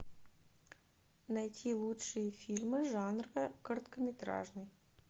найти лучшие фильмы жанра короткометражный